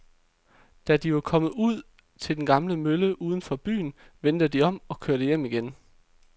Da de var kommet ud til den gamle mølle uden for byen, vendte de om og kørte hjem igen.